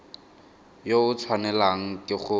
yo o tshwanelang ke go